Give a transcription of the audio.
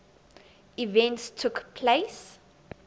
events took place